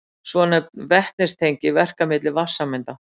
Svonefnd vetnistengi verka milli vatnssameinda.